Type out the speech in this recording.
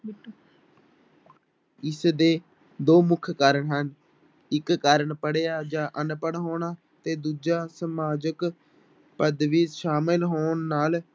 ਇਸਦੇ ਦੋ ਮੁੱਖ ਕਾਰਨ ਹਨ, ਇੱਕ ਕਾਰਨ ਪੜ੍ਹਿਆ ਜਾਂ ਅਨਪੜ੍ਹ ਹੋਣਾ ਤੇ ਦੂਜਾ ਸਮਾਜਿਕ ਪੱਦਵੀ ਸ਼ਾਮਿਲ ਹੋਣ ਨਾਲ